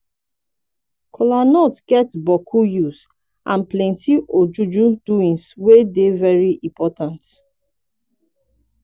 kolanut get bokku use and plenti ojuju doings wey dey very impotant